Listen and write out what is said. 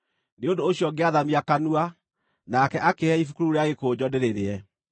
Nĩ ũndũ ũcio ngĩathamia kanua, nake akĩĩhe ibuku rĩu rĩa gĩkũnjo ndĩrĩrĩe.